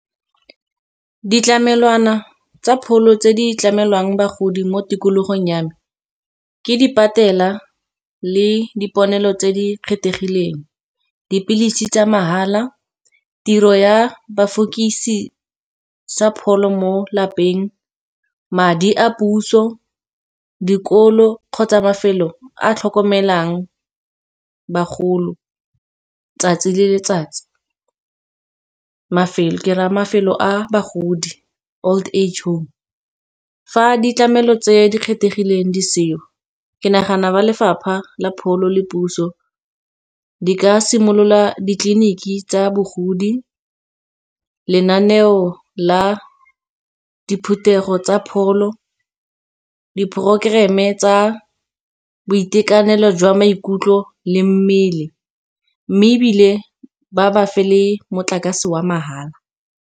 Ditlamelwana tsa pholo tse di tlamelwang bagodi mo tikologong ya me, ke di patela le diponelo tse di kgethegileng. Dipilisi tsa mahala tiro ya bafukisi sa pholo mo lapeng, madi a puso dikolo kgotsa mafelo a tlhokomelang bagolo 'tsatsi le letsatsi. Ke raya mafelo a bagodi old age home, fa ditlamelo tse di kgethegileng di seo, ke nagana ba lefapha la pholo le puso di ka simolola ditleliniki tsa bogodi. Lenaneo la diphuthego tsa pholo, diporokoreme tsa boitekanelo jwa maikutlo, le mmele mme ebile ba ba fa le motlakase wa mahala.